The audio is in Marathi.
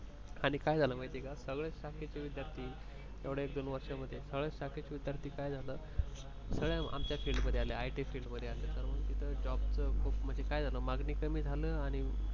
आणि काय झालं माहिती आहे का सगळ्यात शाखेचे विद्यार्थी एवढ्या एक दोन वर्षांमध्ये सगळ्याच शाखेचे विद्यार्थी सगळे आमच्या field मध्ये आले it field मध्ये तर मग काय झालं तिथे मागणी कमी झाली आणि